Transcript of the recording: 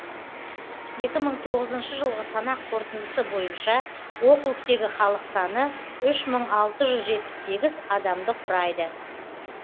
екі мың тоғызыншы жылғы санақ қорытындысы бойынша округтегі халық саны үш мың алты жүз жетпіс сегіз адамды құрайды